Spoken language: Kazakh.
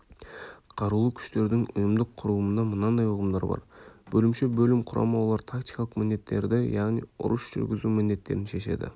қарулы күштердің ұйымдық құрылымында мынандай ұғымдар бар бөлімше бөлім құрама олар тактикалық міндеттерді яғни ұрыс жүргізу міндеттерін шешеді